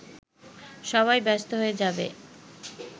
সবাই ব্যস্ত হয়ে যাবে